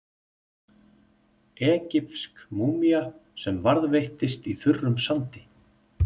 Egypsk múmía sem varðveittist í þurrum sandi.